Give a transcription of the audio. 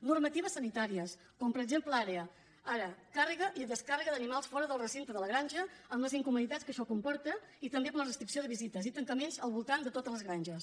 normatives sanitàries com per exemple ara càrrega i descàrrega d’animals fora del recinte de la granja amb les incomoditats que això comporta i també per la restricció de visites i tancaments al voltant de totes les granges